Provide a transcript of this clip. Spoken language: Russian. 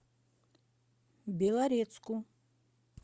белорецку